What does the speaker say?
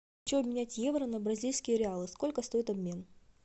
хочу обменять евро на бразильские реалы сколько стоит обмен